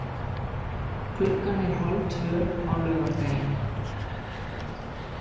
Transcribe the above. Klukkan er hálftvö á laugardaginn.